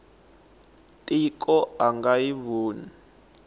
tiko a nga yi voni